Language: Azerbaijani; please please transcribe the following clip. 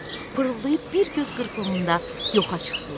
Pırıltayıb bir göz qırpımında yoxa çıxdılar.